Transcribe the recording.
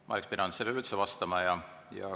Ma ei oleks pidanud sellele üleüldse vastama.